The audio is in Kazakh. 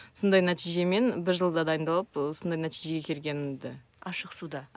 сондай нәтижемен бір жылда дайындалып ы осындай нәтижеге келгенімді ашық суда